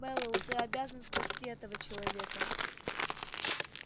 мэллоу ты обязан спасти этого человека